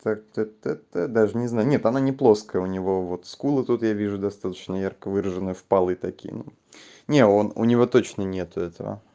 так так так даже не знаю нет она не плоская у него вот скулы тут я вижу достаточно ярко выраженной в полы такие ну не он у него точно нет этого